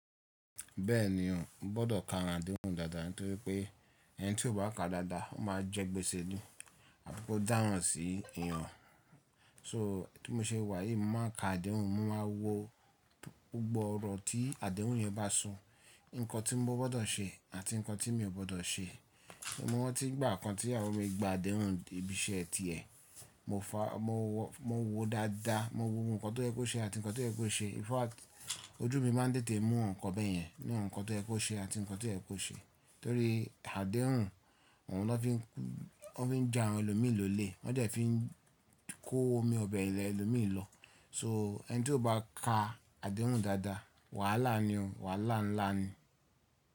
Bẹ́ẹ̀ni o, o gbọdọ̀ ka àdéhùn dáadáa, nítorí pé ẹni tí ò bá ka dáadáa, ó máa jẹ́ gbèsè ni, àbi ko dáran sí èèyàn. So, bi mo ṣe wà yí, mo máa ka àdéhùn, mo máa wo gbogbo ọ̀rọ̀ tí àdéhùn yẹn bá so, nǹkan tí mo gbọdọ̀ ṣe àti nǹkan tí mi ò gbọdọ̀ ṣe. Mo renti ìgbà kan, tí ìyàwó mi gba àdéhùn ibi iṣẹ́ tiẹ̀, mo wo dáadáa, mo wo ohun kan tó yẹ kó ṣe àti nǹkan tó yẹ kó ṣe. In fact ojú mi máa ń tètè mú nǹkan bẹ́ẹ̀ yẹn, ní awon nǹkan tó yẹ kó ṣe àti nǹkan tó yẹ kó ṣe. Torí àdéhùn òun ló fi ń ja àwọn ẹlòmí lólè, wọ́n dẹ̀ ẹ́ fi ń kó omi ọbẹ̀ ẹlòmí lọ. So ẹni tí ò bá ka àdéhùn dáadáa, wàhálà ni o, wàhálà ńlá ni.